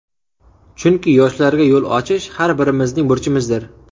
Chunki yoshlarga yo‘l ochish har birimizning burchimizdir.